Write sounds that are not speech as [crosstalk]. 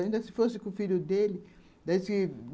Ainda se fosse com o filho dele [unintelligible]